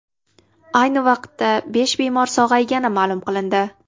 Ayni vaqtda besh bemor sog‘aygani ma’lum qilindi .